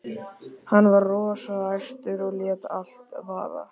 Hann var rosa æstur og lét allt vaða.